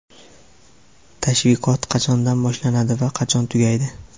Tashviqot qachondan boshlanadi va qachon tugaydi?.